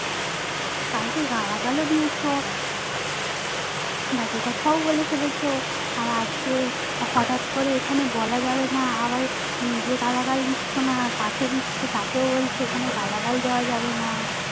কালকে গালাগাল ও দিয়েছো বাজে কথা ও বলে ফেলেছো আর আজকে হটাৎ করে এখানে বলা যাবে না আবার যে গালাগাল দিচ্ছ না পশে দিচ্ছে তাকে ও বলছো এখানে গালাগাল দেওয়া যাবে না